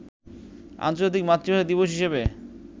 আন্তর্জাতিক মাতৃভাষা দিবস হিসেবে